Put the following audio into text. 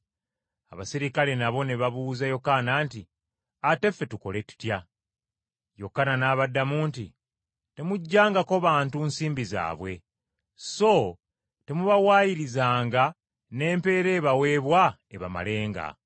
Abaserikale nabo ne babuuza Yokaana nti, “Ate ffe, tukole tutya?” Yokaana n’abagamba nti, “Temuggyangako bantu nsimbi zaabwe. So temubawaayirizanga, n’empeera ebaweebwa ebamalenga.”